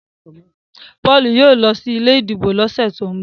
Paul yóò ló sí ilé ìdìbò ló sẹ to'n bọ